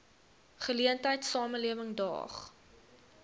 geleentheid samelewing daag